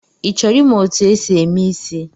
Ị chọrọ ịmụ etu e si eme ịsị?